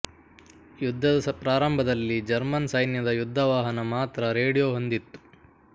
ಯುದ್ಧದ ಪ್ರಾರಂಭದಲ್ಲಿ ಜರ್ಮನ್ ಸೈನ್ಯದ ಯುದ್ಧ ವಾಹನ ಮಾತ್ರ ರೇಡಿಯೋ ಹೊಂದಿತ್ತು